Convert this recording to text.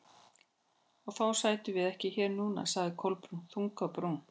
Og þá sætum við ekki hér núna- sagði Kolbrún, þung á brún.